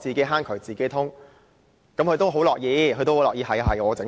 自己坑渠自己通"，不過他也很樂意負責。